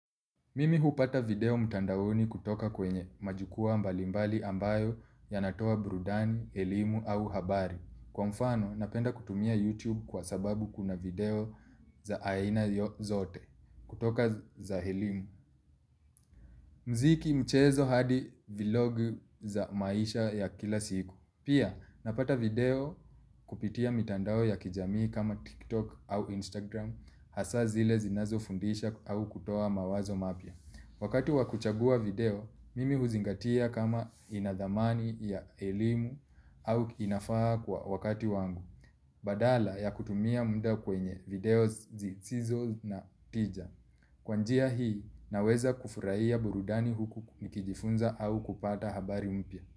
Mimi hupata video mtandaoni kutoka kwenye majukua mbalimbali ambayo yanatoa burudani, elimu au habari. Kwa mfano, napenda kutumia YouTube kwa sababu kuna video za aina zote kutoka za elimu. Mziki mchezo hadi vilogu za maisha ya kila siku. Pia, napata video kupitia mitandao ya kijamii kama TikTok au Instagram hasa zile zinazo fundisha au kutoa mawazo mapya. Wakati wakuchagua video, mimi huzingatia kama inadhamani ya elimu au inafaha kwa wakati wangu, badala ya kutumia muda kwenye video zisizo na tija. Kwa njia hii, naweza kufurahia burudani huku nikijifunza au kupata habari mpya.